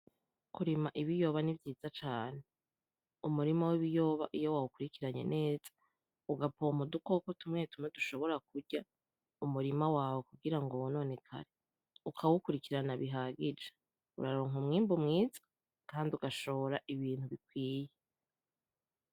Kurima ibiyoba ni vyiza cane umurima w'ibiyoba iyo wawukurikiranye neza ugapompa udukoko tumwe tumwe dushobora kurya umurima wawe kugira ngo wononekare ukawukurikirana bihagije uraronka umwimbu mwiza kandi ugashora ibintu bikwiye.